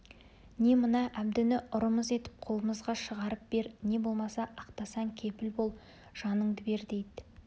не мына әбдіні ұрымыз етіп қолымызға шығарып бер не болмаса ақтасаң кепіл бол жаныңды бер дейді